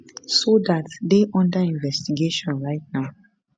so dat dey under investigation right now